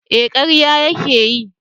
Eh karya ya ke yi